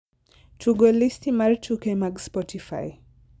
tugo listi mar tuke mag spotify